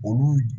Olu